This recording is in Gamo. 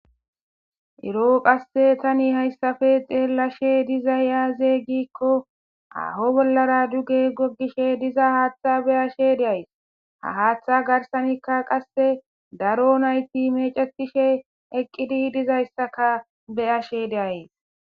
Eroo qasse tani hayssafe deelashe dizay aaze gikko aho bollara duge goggishe diza haaththa beyashe deays ha haaththa garsanikka qasse daro nayti mecetishe eqqidi dizayssaka beyashe deayes.